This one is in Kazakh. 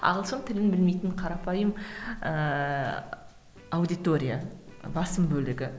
ағылшын тілін білмейтін қарапайым ыыы аудитория басым бөлігі